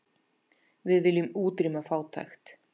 Við viljum útrýma fátækt.